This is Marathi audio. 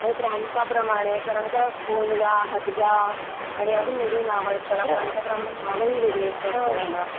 आणि प्रांता प्रमाणे कारण का भोंडला, हादगा, आणि अजून वेगळी नावं आहेत. त्याला प्रांताप्रमाणे नावं ही वेगळी आहेत. त्या खेळाला.